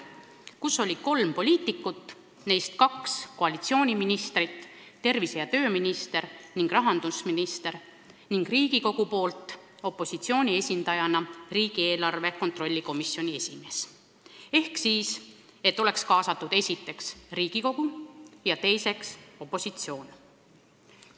Koosseisus oleks kolm poliitikut, neist kaks koalitsiooniministrit – tervise- ja tööminister ning rahandusminister – ja Riigikogust opositsiooni esindajana riigieelarve kontrolli erikomisjoni esimees, et oleks kaasatud esiteks Riigikogu ja teiseks opositsioon.